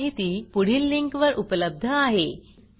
हे भाषांतर मनाली रानडे यांनी केले असून मी रंजना भांबळे आपला निरोप घेते